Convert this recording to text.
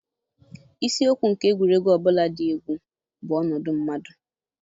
Isiokwu nke egwuregwu ọ bụla dị egwu bụ ọnọdụ mmadụ.